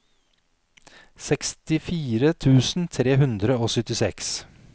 sekstifire tusen tre hundre og syttiseks